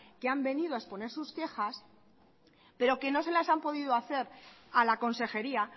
que han venido a exponer sus quejas pero que no se las han podido hacer a la consejería